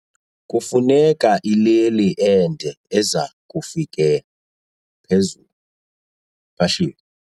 Kufuneka ileli ende eza kufika phezulu eluphahleni.